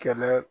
Kɛlɛ